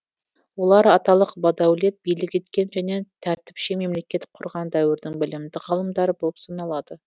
олар аталық бадәулет билік еткен және тәртіпшең мемлекет құрған дәуірдің білімді ғалымдары болып саналады